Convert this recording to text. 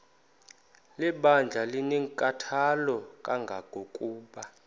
lebandla linenkathalo kangangokuba